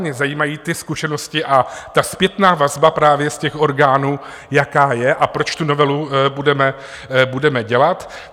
Mě zajímají ty zkušenosti a ta zpětná vazba právě z těch orgánů, jaká je a proč tu novelu budeme dělat.